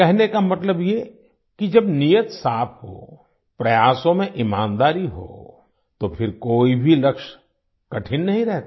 कहने का मतलब ये कि जब नीयत साफ हो प्रयासों में ईमानदारी हो तो फिर कोई भी लक्ष्य कठिन नहीं रहता